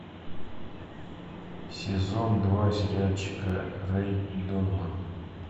сезон два сериальчика рэй донован